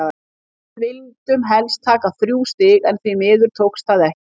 Við vildum hélst taka þrjú stig en því miður tókst það ekki.